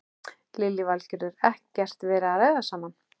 Lillý Valgerður: Ekkert verið að ræða saman?